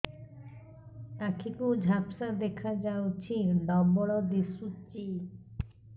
ଆଖି କୁ ଝାପ୍ସା ଦେଖାଯାଉଛି ଡବଳ ଦିଶୁଚି